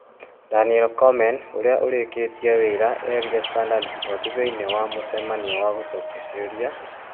Daniel Komen ũrĩa ũreketie wĩra erire Standard Sport thĩinĩ wa mũcamanio wa gũcokia ciũria ,